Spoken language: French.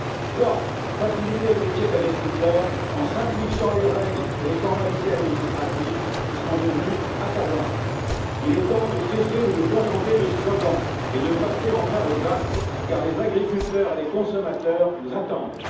Troisièmement, faciliter le métier d'agriculteur en simplifiant les règles et les formalités administratives, qui sont devenues accablantes. Il est temps de cesser de nous contenter de slogans et de passer enfin aux actes, car les agriculteurs et les consommateurs nous attendent.